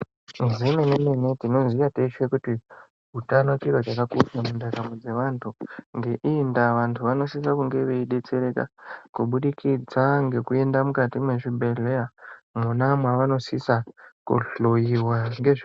Zvemene mene tinoziva teshe kuti utano chiro chakakoshabmundaramo dzevantu ngeiyi ndaa antu anosise kunge veidetsereka kubudikidza ngekuenda mukati mwezvibhedhleya mwona mwavanosisa kuhloyiwa ngezve .